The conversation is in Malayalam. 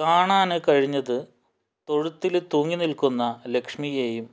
കാണാന് കഴിഞ്ഞത് തൊഴുത്തില് തൂങ്ങിനില്ക്കുന്ന ലക്ഷ്മിയെയും